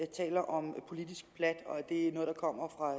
taler om politisk plat og at det er noget der kommer fra